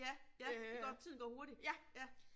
Ja ja, det går tiden går hurtigt. Ja